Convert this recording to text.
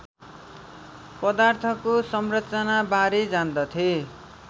पदार्थको संरचनाबारे जान्दथे